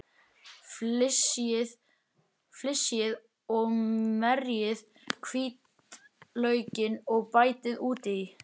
Flysjið og merjið hvítlaukinn og bætið út í.